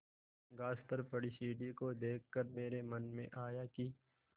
घास पर पड़ी सीढ़ी को देख कर मेरे मन में आया कि